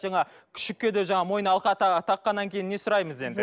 жаңағы күшікке де жаңағы мойнына алқа таққаннан кейін не сұраймыз енді